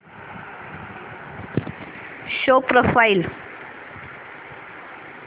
show profile